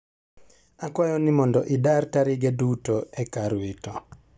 akwayo ni mondo idar tarige duto e kar wito.